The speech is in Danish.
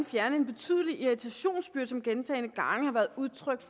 fjerne en betydelig irritationsbyrde hvilket der gentagne gange har været udtrykt